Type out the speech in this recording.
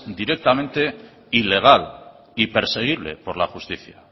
directamente ilegal y perseguible por la justicia